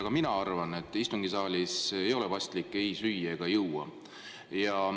Ka mina arvan, et istungisaalis ei ole paslik ei süüa ega juua.